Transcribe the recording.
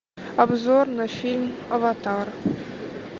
обзор на фильм аватар